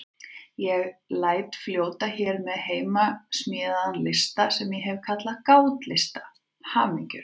Ég læt fljóta hér með heimasmíðaðan lista sem ég hef kallað Gátlista hamingjunnar.